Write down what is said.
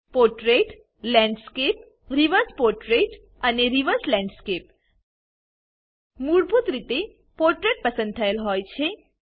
portrait landscape reverse portrait અને reverse landscape મૂળભૂત રીતે પોર્ટ્રેટ પસંદ થયેલ હોય છે